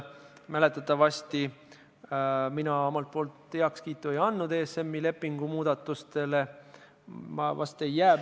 Mäletatavasti mina seal ESM-i lepingu muudatustele oma heakskiitu ei andnud.